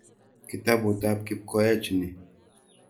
Kitaput ap Kipkoech ni.